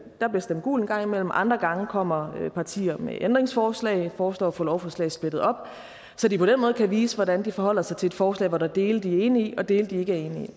der bliver stemt gult en gang imellem andre gange kommer partier med ændringsforslag foreslår at få lovforslaget splittet op så de på den måde kan vise hvordan de forholder sig til et forslag hvor der er dele de er enige i og dele de ikke